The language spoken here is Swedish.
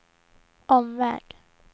omväg